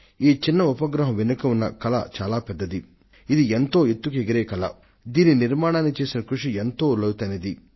ఈ చిన్న ఉపగ్రహం వెనుక ఉన్న కలలు పెద్దవీ ఉన్నతమైనవీనూ అవి నింగిలోకి ఎగసేవి వారు చేసిన ప్రయత్నాలు ఎంతో సాంద్రమైనవి